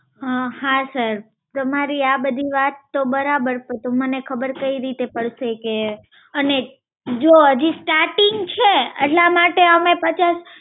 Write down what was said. હા sir, તમારી આ બધી વાત તો બરાબર. પર તો મને ખબર કઈ રીતે પડશે? કે અને જો હજી starting છે એટલા માટે અમે પચાસ